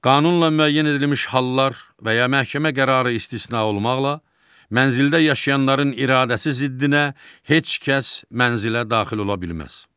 Qanunla müəyyən edilmiş hallar və ya məhkəmə qərarı istisna olmaqla, mənzildə yaşayanların iradəsi ziddinə heç kəs mənzilə daxil ola bilməz.